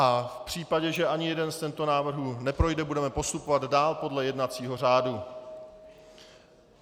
A v případě, že ani jeden z těchto návrhů neprojde, budeme postupovat dál podle jednacího řádu.